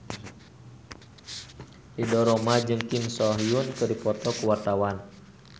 Ridho Roma jeung Kim So Hyun keur dipoto ku wartawan